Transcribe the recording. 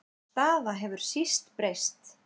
Sú staða hefur síst breyst.